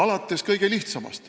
Kirjeldan kõige lihtsamat.